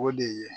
O de ye